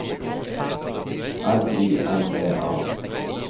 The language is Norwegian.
L I N E A